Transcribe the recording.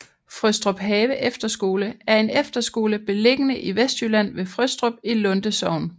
Frøstruphave Efterskole er en efterskole beliggende i Vestjylland ved Frøstrup i Lunde Sogn